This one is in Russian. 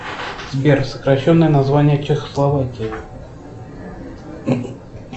сбер сокращенное название чехословакии